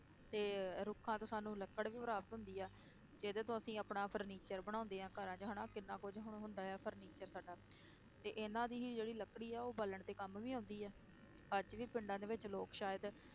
ਤੇ ਰੁੱਖਾਂ ਤੋਂ ਸਾਨੂੰ ਲੱਕੜ ਵੀ ਪ੍ਰਾਪਤ ਹੁੰਦੀ ਆ, ਇਹਦੇ ਤੋਂ ਅਸੀਂ ਆਪਣਾ furniture ਬਣਾਉਂਦੇ ਹਾਂ ਘਰਾਂ 'ਚ ਹਨਾ ਕਿੰਨਾ ਕੁੱਝ ਹੁਣ ਹੁੰਦਾ ਹੈ furniture ਸਾਡਾ ਤੇ ਇਹਨਾਂ ਦੀ ਹੀ ਜਿਹੜੀ ਲੱਕੜੀ ਆ ਉਹ ਬਾਲਣ ਦੇ ਕੰਮ ਵੀ ਆਉਂਦੀ ਹੈ, ਅੱਜ ਵੀ ਪਿੰਡਾਂ ਦੇ ਵਿੱਚ ਲੋਕ ਸ਼ਾਇਦ